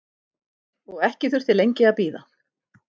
Og ekki þurfti lengi að bíða.